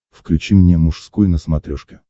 включи мне мужской на смотрешке